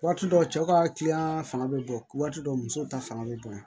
Waati dɔ cɛ ka kiliyan fanga bɛ bon waati dɔw musow ta fanga bɛ bonya